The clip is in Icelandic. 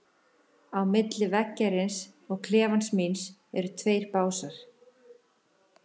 Á milli veggjarins og klefans míns eru tveir básar.